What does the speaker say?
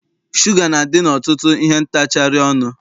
Shuga na-adị n'ọtụtụ ihe ntacharị ọnụ.